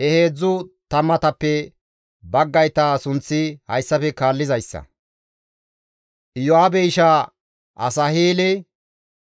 He heedzdzu tammatappe baggayta sunththi hayssafe kaallizayssa. Iyo7aabe ishaa Asaheele,